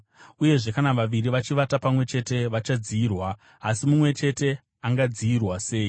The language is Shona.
Uyezve kana vaviri vachivata pamwe chete, vachadziyirwa. Asi mumwe chete angadziyirwa sei?